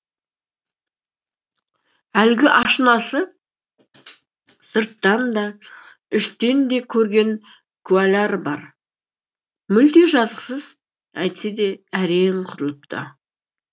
әлгі ашынасы сырттан да іштен де көрген куәлар бар мүлде жазықсыз әйтсе де әрең құтылыпты